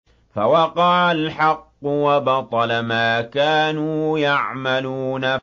فَوَقَعَ الْحَقُّ وَبَطَلَ مَا كَانُوا يَعْمَلُونَ